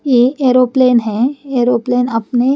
ये एरोप्लेन है एरोप्लेन अपने --